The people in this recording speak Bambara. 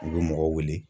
U bɛ mɔgɔ wele